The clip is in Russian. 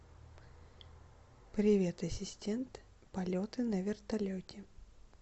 привет ассистент полеты на вертолете